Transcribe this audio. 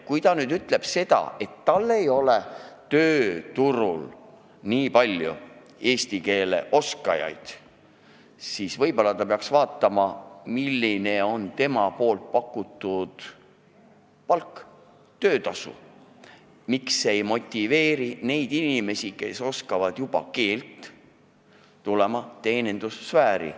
Kui ta ütleb, et tööturul ei ole nii palju eesti keele oskajaid, siis võib-olla ta peaks vaatama, milline on tema pakutud palk, miks see ei motiveeri neid inimesi, kes juba oskavad keelt, tulema teenindussfääri.